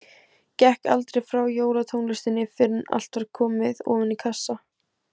Gekk aldrei frá jólatónlistinni fyrr en allt var komið ofan í kassa.